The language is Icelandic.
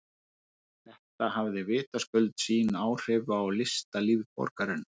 Þetta hafði vitaskuld sín áhrif á listalíf borgarinnar.